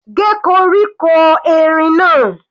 Gé koríko erin náà.